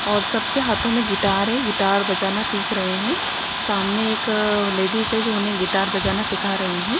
और सबके हाथों में गिटार है गिटार बजाना सीख रहे हैं सामने एक लेडिस हैं जो उन्हें गिटार बजाना सिखा रही हैं।